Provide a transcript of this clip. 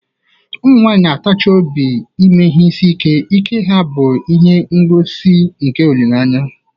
Ụmụ nwanyị na-atachi obi n'ime ihe isi ike, ike ha bụ ihe ngosi nke olileanya.